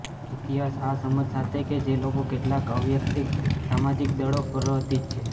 ઇતિહાસ આ સમજ સાથે કે જે લોકો કેટલાક અવૈયક્તિક સામાજિક દળો પ્રવર્તી છે